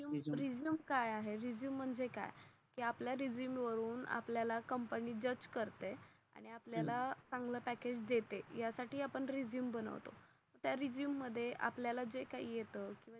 Resume काय आहे? Resume म्हणजे काय? कि आपल्या रेझूमे वरून कंपनी आपल्या ला जज करते. आणि आपल्या ला चांगला पॅकेज देते. यासाठी आपण रेझूमे बनवतो. त्या रेझूमे मध्ये आपल्या ला जे काही येत